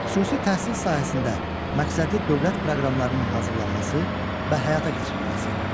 Xüsusi təhsil sahəsində məqsədli dövlət proqramlarının hazırlanması və həyata keçirilməsi.